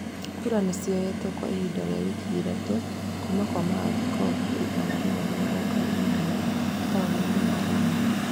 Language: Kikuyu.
Kura nĩ cioyetũo kwa ihinda rĩa wiki ithatũ, kuuma kwa maathikobu igana rĩmwe na mĩrongo ĩnana taũni-inĩ ya Roma.